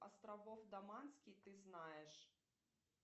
островов доманский ты знаешь